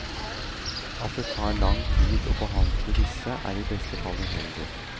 At det tar for lang tid å behandle disse, er i beste fall uheldig.